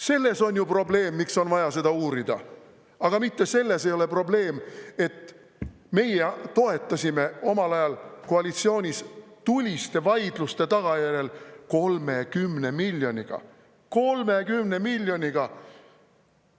Selles on ju probleem, miks on vaja seda uurida, aga mitte selles ei ole probleem, et meie toetasime omal ajal koalitsioonis tuliste vaidluste tagajärjel 30 miljoniga – 30 miljoniga!